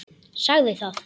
Sagði það.